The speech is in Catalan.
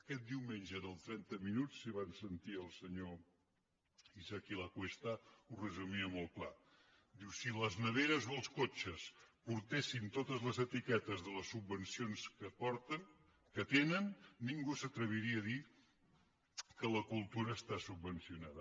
aquest diumenge en el trenta minuts si van sentir el senyor isaki lacuesta ho resumia molt clar diu si les neveres o els cotxes portessin totes les etiquetes de les subvencions que tenen ningú s’atreviria a dir que la cultura està subvencionada